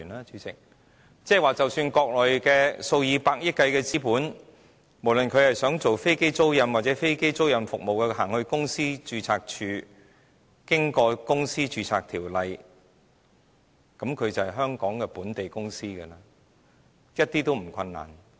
主席，即是說國內數以百億元計的資本，不論是想進行飛機租賃或其他服務，只要去到公司註冊處，經過相關條例註冊，它就是香港本地公司，是毫不困難的。